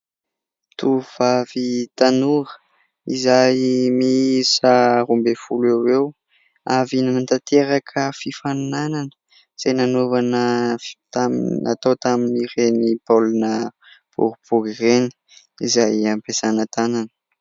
Tovovavy tanora izay miisa roa ambin'ny folo eo ho eo, avy nanatanteraka fifaninanana izay nanaovana tamin'ny natao tamin'ireny baolina boribory ireny izay ampiasàna tanana.